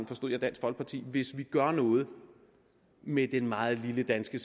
forstod jeg dansk folkeparti hvis vi gør noget med det meget lille danske